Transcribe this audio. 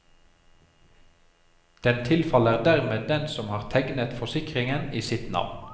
Den tilfaller dermed den som har tegnet forsikringen i sitt navn.